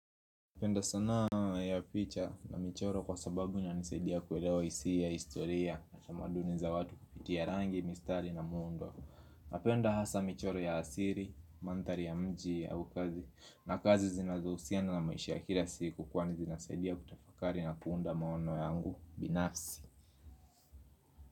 Napenda sanaa ya picha na michoro kwa sababu inanisaidia kuelewa hisia historia na tamaduni za watu kupitia rangi, mistari na muundo. Napenda hasa michoro ya asili, mandhari ya mji au kazi na kazi zinazohusiana na maisha ya kila siku kwangu inasaidia kutafakari na kuunda maono yangu binafsi.